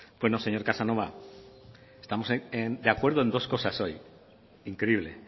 bueno señor casanova estamos de acuerdo en dos cosas hoy increíble